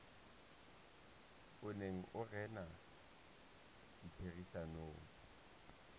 o neng o rena ditherisanong